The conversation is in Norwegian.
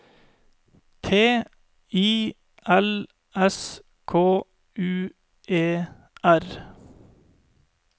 T I L S K U E R